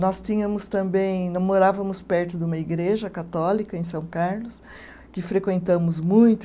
Nós tínhamos também, morávamos perto de uma igreja católica em São Carlos, que frequentamos muito.